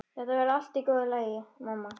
Þetta verður allt í góðu lagi, mamma.